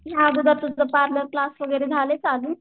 ह्या अगोदर तुझं पार्लर क्लास झालंय चालू?